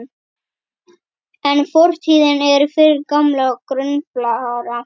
En fortíðin er fyrir gamla gruflara.